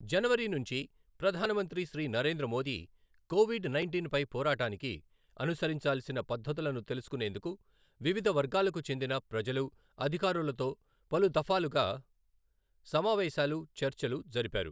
జనవరి నుంచి ప్రధానమంత్రి Shri Narendra Modi, COVID nineteen పై పోరాటానికి అనుసరించాల్సిన పద్ధతులను తెలుసుకునేందుకు వివిధ వర్గాలకు చెందిన ప్రజలు, అధికారులతో పలు ధఫాలుగా సమావేశాలు, చర్చలు జరిపారు.